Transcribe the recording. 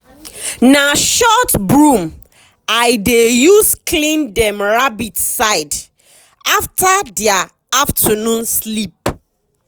na short broom i dey use clean dem rabbit side after dia afternoon sleep.